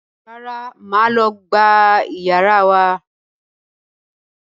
Rárá, mo máa lọ gbá iyàrá wa